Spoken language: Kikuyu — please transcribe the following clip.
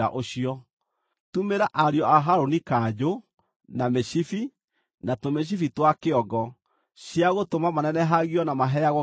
Tumĩra ariũ a Harũni kanjũ, na mĩcibi, na tũmĩcibi twa kĩongo, cia gũtũma manenehagio na maheagwo gĩtĩĩo.